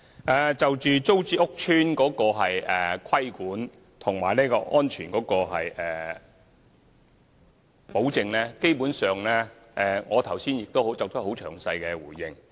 關於租置計劃屋邨的規管及安全保證，基本上，我剛才已詳細回應。